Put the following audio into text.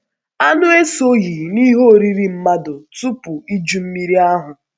Anụ esoghị n’ihe oriri mmadụ tupu Iju Mmiri ahụ.